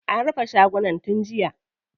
An rufe shagunan tun jiya.